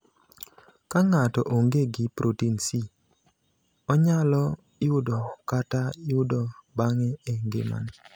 Ka ng’ato onge gi protin C, onyalo yudo kata yudo bang’e e ngimane.